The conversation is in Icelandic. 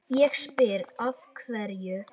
Ég spyr af hverju?